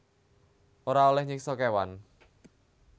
Ora olèh nyiksa kéwan